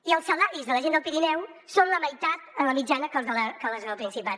i els salaris de la gent del pirineu són la meitat en la mitjana que les del principat